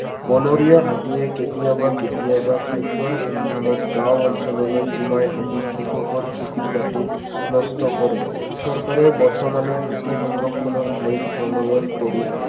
বনৰীয়া হাতীয়ে কেতিয়াবা কেতিয়াবা খাদ্যৰ সন্ধানত গাওঁ অঞ্চললৈ সোমাই আহি কৃষকৰ খেতি বাতিও নষ্ট কৰে। চৰকাৰে বৰ্তমানে হাতী সংৰক্ষণৰ আইন প্ৰণয়ন কৰি